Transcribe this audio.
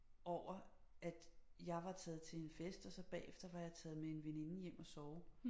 Over at jeg var taget til en fest og så bagefter var jeg taget med en veninde hjem og sove